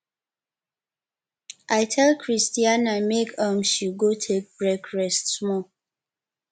i tell christiana make um she go take break rest small